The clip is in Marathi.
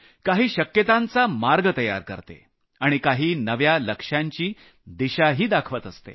काही शक्यतांचा मार्ग तयार करते आणि काही नव्या लक्ष्यांची दिशाही दाखवत असते